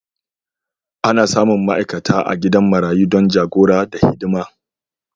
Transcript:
Ana samun ma'aikata a gidan marayu don jagora da hidima.